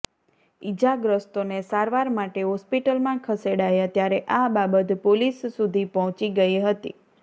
ઈજાગ્રસ્તોને સારવાર માટે હોસ્પિટલમાં ખેસેડાયા ત્યારે આ બાબત પોલીસ સુધી પહોંચી ગઈ હતી